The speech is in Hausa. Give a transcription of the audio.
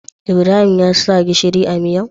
Ibrahim ya sa gishiri a miyar?